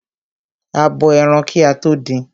A bo ẹran kí a tó din.